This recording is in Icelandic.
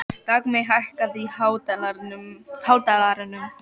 Dagmey, hækkaðu í hátalaranum.